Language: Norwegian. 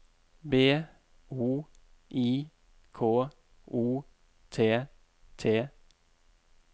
B O I K O T T